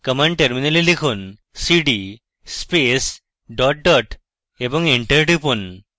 command টার্মিনালে লিখুন cd space dot dot এবং এন্টার টিপুন